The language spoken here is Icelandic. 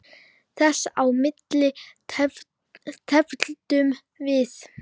Þess á milli tefldum við.